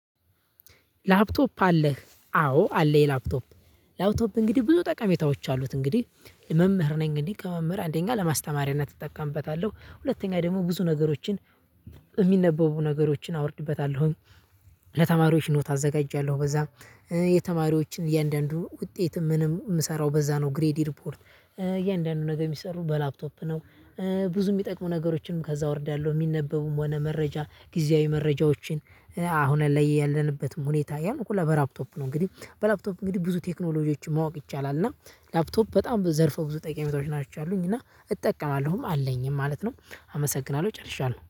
ላፕቶፕ አለህ? አዎ አለኝ ላፕቶፕ ላፕቶፕ እንግዲህ ብዙ ጠቃሜታዎች አሉት። እንግዲህ መምህር ነኝ እንግዲህ ከመምህር አንደኛ ለማስተማሪያነት እጠቀምበታለሁ። ሁለተኛ ደግሞ ብዙ ነገሮችን የሚነበቡ ነገሮችን አወርድበታለሁኝ። ለተማሪዎች ኖት አዘጋጃለሁ። በዛ የተማሪዎችን እያንዳንዱ ውጤት ምንም የምሰራው በዛ ነው ግሬድ ሪፖርት እያንዳንዱ ነገር የሚሰሩ በላፕቶፕ ነው። ብዙ ምጠቅሙ ነገሮችንም ከዛ አወርዳለሁ ሚነበቡም ሆነ መረጃ ጊዜያዊ መረጃዎችን። አሁን ላይ ያለንበትም ሁኔታ ያን በላፕቶፕ ነው። እንግዲህ በላፕቶፕ እንግዲህ ብዙ ቴክኖሎጂዎችን ማወቅ ይቻላል። እና ላፕቶፕ በጣም ዘርፈ ብዙ ጠቀሜታዎች ነው ያላቸው ናቸው አሉኝ እና እጠቀማለሁም አለኝም ማለት ነው። አመሰግናለሁ ጨርሻለሁ